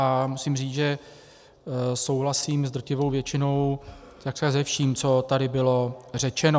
A musím říct, že souhlasím s drtivou většinou, takřka se vším, co tady bylo řečeno.